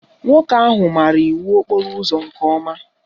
Nwoke ahụ maara iwu okporo ụzọ nke ọma